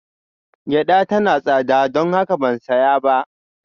Gyada tana da tsada, don haka ban saya ba